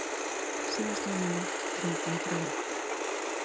Síðastliðna nótt dreymdi mig draum.